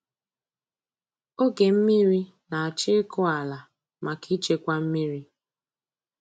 oge mmiri na-achọ ịkụ ala maka ịchekwa mmiri.